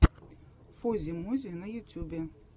фози мози на ютюбе